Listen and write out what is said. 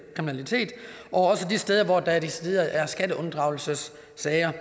kriminalitet også de steder hvor der decideret er skatteunddragelsessager